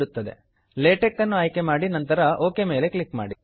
LaTeX LaTeX ಅನ್ನು ಆಯ್ಕೆ ಮಾಡಿ ನಂತರ ಒಕ್ ಮೇಲೆ ಕ್ಲಿಕ್ ಮಾಡಿ